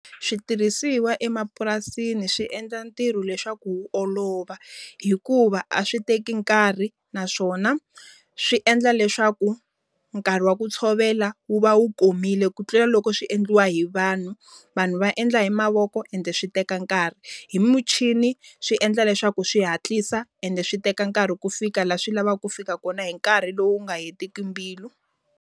Switirhisiwa emapurasini swi endla ntirho leswaku wu olova. Hikuva a swi teki nkarhi naswona, swi endla leswaku nkarhi wa ku tshovela wu va wu komile ku tlela loko swi endliwa hi vanhu. Vanhu va endla hi mavoko ende swi teka nkarhi. Hi muchini swi endla leswaku swi hatlisa ende swi teka nkarhi ku fika laha swi lavaka ku fika kona hi nkarhi lowu nga hetiki mbilu.